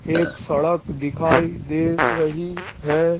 एक सड़क दिखाई दे रही है।